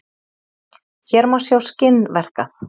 Hér má sjá skinn verkað.